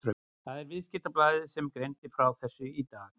Það er Viðskiptablaðið sem greindi frá þessu í dag.